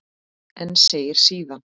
En segir síðan